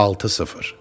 6-0.